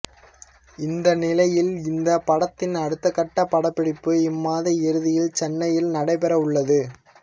இந்த நிலையில் இந்த படத்தின் அடுத்தகட்ட படப்பிடிப்பு இம்மாத இறுதியில் சென்னையில் நடைபெறவுள்ளது